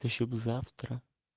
ты ещё бы завтра